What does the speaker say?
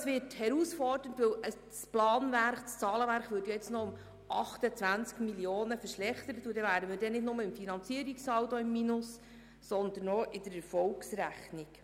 Es wird also eine Herausforderung, denn das Zahlenwerk würde jetzt noch um 28 Mio. Franken verschlechtert, sodass wir uns dann nicht nur beim Finanzierungssaldo im Minus befänden, sondern auch mit der Erfolgsrechnung.